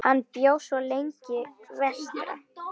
Hann bjó svo lengi vestra.